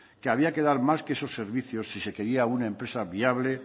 que había que dar más que esos servicios si se quería una empresa viable